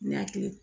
Ni hakili